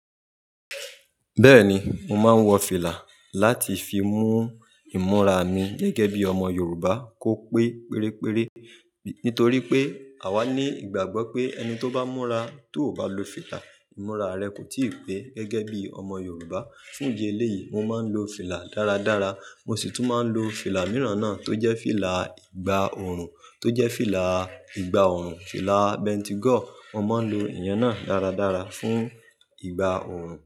Bẹ́ẹ̀ni, mo máa ń wọ fìlà láti fi mú ìmúra mi gẹ́gẹ́ bí ọmọ Yorùbá kó pé pere pere. Nítorí pé àwa ní ìgbàgbọ́ pé ẹni tó bá múra tó ò bá lo fìlà, ìmúra rẹ kò tíì pé gẹ́gẹ́ bí ọmọ Yorùbá. Fún idi eléyìí, mo máa ń lo fìlà dára dára. Mo sì tún máa ń lo fìlà mìíràn náà tó jẹ́ fìlà ìgbà òòrùn tó jẹ́ fìlà ìgbà òòrùn, fìlà bentigo. Mo máa ń lo ìyen náà dára dára fún ìgbà òòrùn.